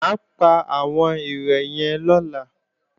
Mà á pa àwọn ere yẹn lọ́la